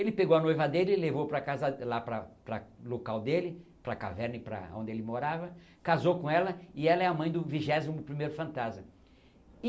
Ele pegou a noiva dele e levou para casa, lá para para local dele, para caverna e para onde ele morava, casou com ela e ela é a mãe do vigésimo primeiro fantasma.